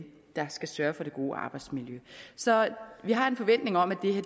der skal sørge for det gode arbejdsmiljø så vi har en forventning om at